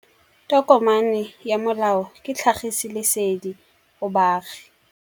Tokomane ya molao ke tlhagisi lesedi go baagi.